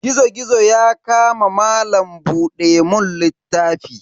Gizo-gizo ya kama malam buɗe mun littafi.